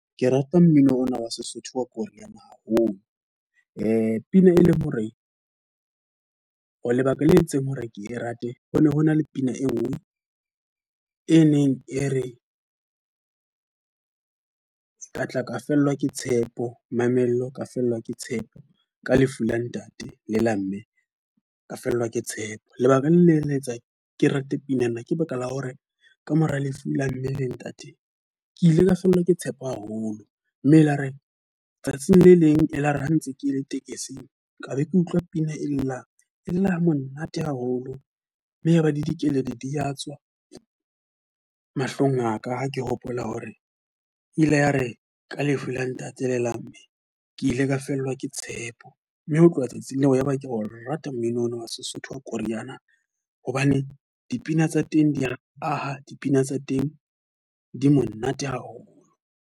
Ke rata mmino ona wa Sesotho wa koriana haholo. Pina e leng hore, ho lebaka le entseng hore ke e rate. Ho ne hona le pina e nngwe e neng e re, ka tla ka fellwa ke tshepo, mamello ka fellwa ke tshepo, ka lefu la ntate le la mme ka fellwa ke tshepo. Lebaka le leng le etsang ke rate pina ka baka la hore ka mora lefu la mme le ntate ke ile ka fellwa ke tshepo haholo. Mme e la re tsatsing le leng e la re ha ntse ke le tekesing ka be ke utlwa pina e le nang le la ho monate haholo mme ya ba di dikeledi di a tswa mahlong a ka. Ha ke hopola hore ile ya re ka lefu la ntate le la mme, ke ile ka fellwa ke tshepo. Mme ho tloha tsatsing leo, yaba ke o rata mmino ona wa Sesotho wa Koriana. Hobane dipina tsa teng di a aha, dipina tsa teng di monate haholo.